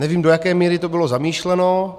Nevím, do jaké míry to bylo zamýšleno.